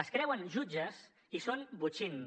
es creuen jutges i són botxins